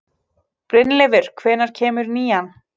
Brynleifur, hvenær kemur nían?